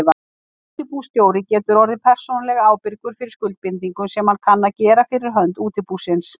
Útibússtjóri getur orðið persónulega ábyrgur fyrir skuldbindingum sem hann kann að gera fyrir hönd útibúsins.